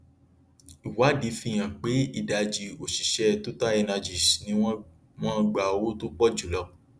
ìwádìí fi hàn pé ìdajì òṣìṣẹ totalenergies ni wọn wọn gba owó tó pọ jùlọ